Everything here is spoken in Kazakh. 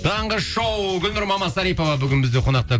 таңғы шоу гүлнұр мамасарипова бүгін бізде қонақта